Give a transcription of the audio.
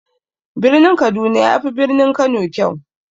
Birin kaduna yafi birnin kano kyau.